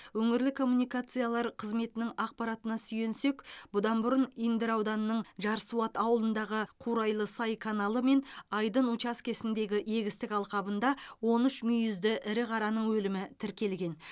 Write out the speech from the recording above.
өңірлік коммуникациялар қызметінің ақпаратына сүйенсек бұдан бұрын индер ауданының жарсуат ауылындағы қурайлы сай каналы мен айдын учаскесіндегі егістік алқабында он үш мүйізді ірі қараның өлімі тіркелген